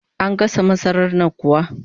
An gasa masarar nan kuwa?